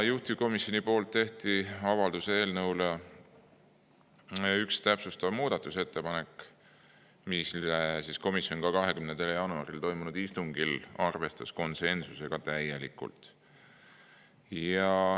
Juhtivkomisjon tegi avalduse eelnõu kohta ühe täpsustava muudatusettepaneku, mida komisjon 20. jaanuaril toimunud istungil arvestas konsensusega täielikult.